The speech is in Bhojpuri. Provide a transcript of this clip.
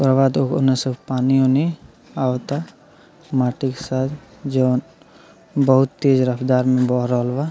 लगावाता उने पानी ऊनि आवाता मिट्टी के साथ जॉन बहुत तेज रफ्तार में बह रहल बा।